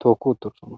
tooki uttosona.